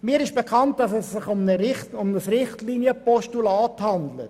Mir ist bekannt, dass es sich um ein Richtlinienpostulat handelt.